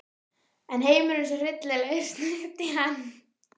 En heimurinn er svo hryllilegur, snökti hann.